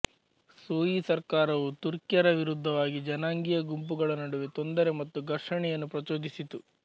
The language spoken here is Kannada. ಸೂಯಿ ಸರ್ಕಾರವು ತುರ್ಕಿಯರ ವಿರುದ್ಧವಾಗಿ ಜನಾಂಗೀಯ ಗುಂಪುಗಳ ನಡುವೆ ತೊಂದರೆ ಮತ್ತು ಘರ್ಷಣೆಯನ್ನು ಪ್ರಚೋದಿಸಿತು